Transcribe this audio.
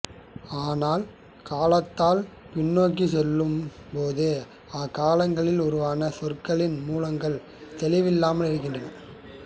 ஆனால் காலத்தால் பின்னோக்கிச் சொல்லும்போது அக்காலங்களில் உருவான சொற்களின் மூலங்கள் தெளிவில்லாமல் இருக்கின்றன